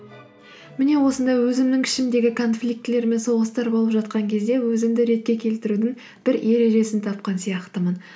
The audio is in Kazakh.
міне осындай өзімнің ішімдегі конфликтілер мен соғыстар болып жатқан кезде өзімді ретке келтірудің бір ережесін тапқан сияқтымын